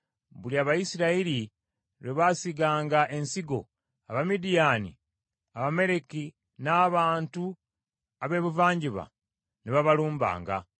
Buli Abayisirayiri lwe baasiganga ensigo, Abamidiyaani, Abamaleki n’abantu ab’ebuvanjuba ne babalumbanga.